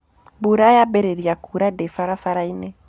Mbura yambĩrĩria kuura ndĩ barabara-inĩ.